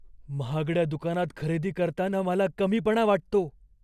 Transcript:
महागड्या दुकानात खरेदी करताना मला कमीपणा वाटतो.